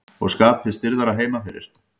Og skapið stirðara heima fyrir.